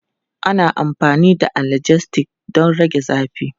Ana amfani da analgesics don rage zafi.